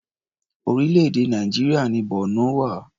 Orílẹ̀-èdè Nàìjíríà ni Borno wà.